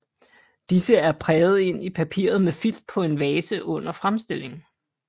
Disse er præget ind i papiret med filt på en valse under fremstillingen